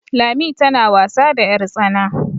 Lami tana wasa da yartsana